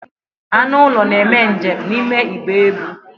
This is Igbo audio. Anụ ụlọ na-eme njem n'ime igbe ebu.